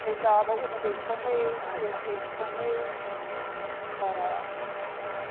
Chegava uma vez por mês, duas vezes por mês, né? Para